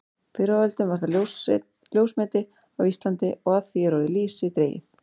Fyrr á öldum var það ljósmeti á Íslandi og af því er orðið lýsi dregið.